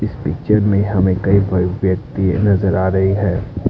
इस पिक्चर में हमें कई सारे व्यक्ति नजर आ रहे हैं।